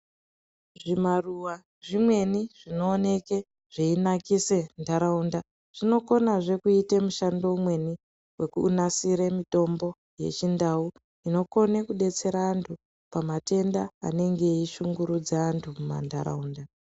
Zvimaruwa zvimweni zvinooneke zveyinakise ntaraunda zvinokonazve kuite mushando umweni wekunasire mutombo wechindau inokone kudetsere antu pamatenda anenge eyishungurudza antu mumantaraunda.